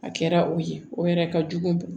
A kɛra o ye o yɛrɛ ka jugu